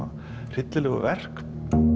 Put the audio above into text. hryllilegu verk